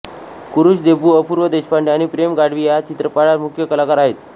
कुरुश देबू अपूर्व देशपांडे आणि प्रेम गढवी या चित्रपटात मुख्य कलाकार आहेत